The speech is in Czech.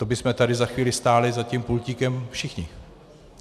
To bychom tu za chvíli stáli za tím pultíkem všichni.